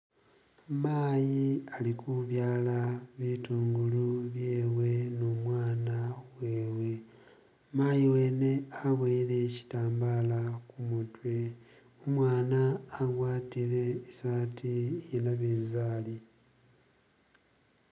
Mayi ali ku byaala bitungulu byewe ne umwana wewe, mayi wene waboyele shitambala khumutwe, umwana agwatile isati iye nabintsari.